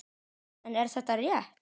En er þetta rétt?